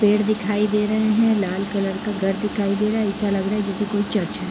पेड़ दिखाई दे रहे हैं | लाल कलर का घर दिखाई दे रहा है | ऐसा लग रहा है जैसे कोई चर्च है।